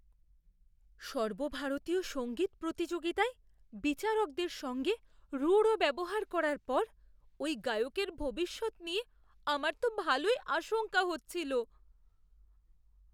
সর্বভারতীয় সঙ্গীত প্রতিযোগিতায় বিচারকদের সঙ্গে রূঢ় ব্যবহার করার পর ওই গায়কের ভবিষ্যৎ নিয়ে আমার তো ভালোই আশঙ্কা হচ্ছিল।